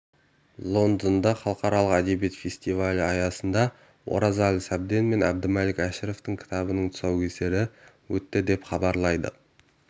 лондонда халықаралық әдебиет фестивалі аясында оразалы сәбден мен әбдімәлік әшіровтың кітабының тұсаукесері өтті деп хабарлайды